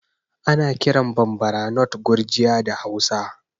Ana kiran Bambara nut Gurjiya da Hausa